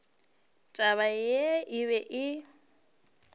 taba yeo e be e